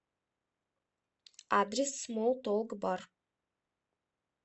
адрес смол толк бар